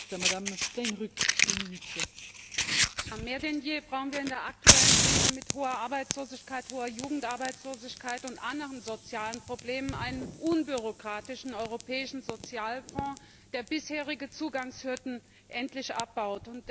Frau Präsidentin! Mehr denn je brauchen wir in der aktuellen Krise mit hoher Arbeitslosigkeit, hoher Jugendarbeitslosigkeit und anderen sozialen Problemen einen unbürokratischen europäischen Sozialfonds, der bisherige Zugangshürden endlich abbaut.